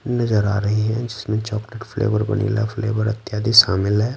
नजर आ रही है जिसमें चॉकलेट फ्लेवर वनीला फ्लेवर इत्यादि शामिल है।